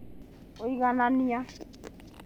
Kũiganania